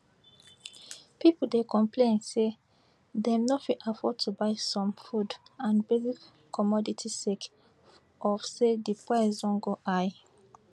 pipo dey complain say dem no fit afford to buy some food and basic commodities sake of say di price don go high